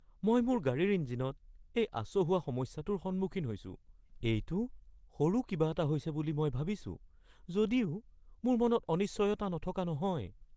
মই মোৰ গাড়ীৰ ইঞ্জিনত এই আচহুৱা সমস্যাটোৰ সন্মুখীন হৈছোঁ। এইটো সৰু কিবা এটা হৈছে বুলি মই ভাবিছোঁ যদিও মোৰ মনত অনিশ্চয়তা নথকা নহয়।